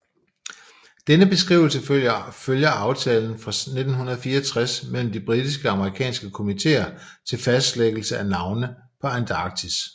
Denne beskrivelse følger aftalen fra 1964 mellem de britiske og amerikanske kommitéer til fastlæggelse af navne på Antarktis